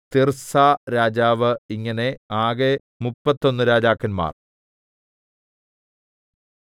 തിർസാരാജാവ് ഇങ്ങനെ ആകെ മുപ്പത്തൊന്നു രാജാക്കന്മാർ